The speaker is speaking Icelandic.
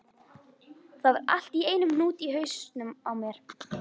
Það var allt í einum hnút í hausnum á mér.